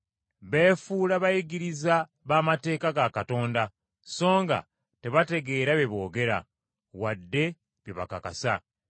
Beefuula bayigiriza b’amateeka ga Katonda, songa tebategeera bye boogera, wadde bye bakakasa.